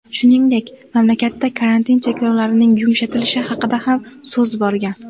Shuningdek, mamlakatda karantin cheklovlarining yumshatilishi haqida ham so‘z borgan.